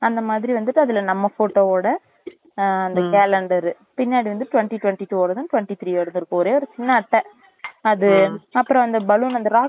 அந்த மாதிரி வந்துட்டு அதுல நம்ம photo வோட அந்த calendar பின்னாடி வந்து twenty twenty two வோடதும் twenty three வோடதும் இருக்கும் ஒரே ஒரு சின்ன அட்டை அது அப்புறம் அந்த balloon அந்த rocket